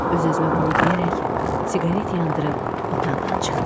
Öz-özümə bunu deyərək siqaret yandırıb otaqdan çıxdım.